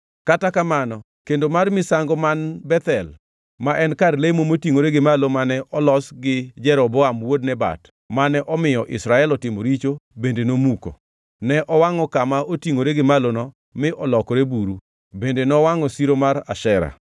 Kata mana kendo mar misango man Bethel, ma en kar lemo motingʼore gi malo mane olosgi Jeroboam wuod Nebat, mane omiyo Israel otimo richo bende nomuko. Ne owangʼo kama otingʼore gi malono mi olokore buru bende nowangʼo siro mar Ashera.